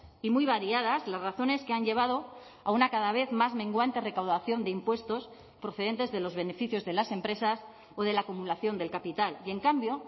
y muy variadas las razones que han llevado a una cada vez más menguante recaudación de impuestos procedentes de los beneficios de las empresas o de la acumulación del capital y en cambio